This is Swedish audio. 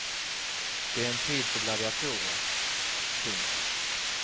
Det är en tid för gladiatorer. punkt